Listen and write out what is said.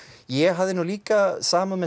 ég hafði nú líka samúð með